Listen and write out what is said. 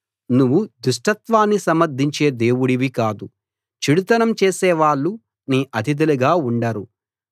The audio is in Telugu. నువ్వు దుష్టత్వాన్ని సమర్ధించే దేవుడివి కాదు చెడుతనం చేసే వాళ్ళు నీ అతిథులుగా ఉండరు